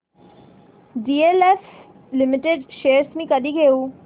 DLF Limited shares मी कधी घेऊ